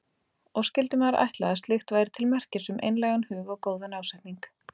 Og skyldi maður ætla að slíkt væri til merkis um einlægan hug og góðan ásetning.